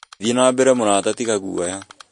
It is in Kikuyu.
Thiĩ na mbere mũrata tĩga guoya